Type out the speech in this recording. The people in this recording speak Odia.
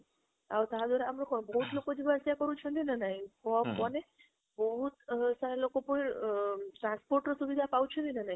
ଆଉ ତା ଦ୍ୱାର କଣ ବହୁତ ଲୋକ ଯିବା ଆସିବା କରୁଛନ୍ତି ନା ନାହିଁ ବହୁତ ସାରା ଲୋକ ପୁଣି ଅ transport ର ସୁବିଧା ପାଉଛନ୍ତି ନା ନାହିଁ?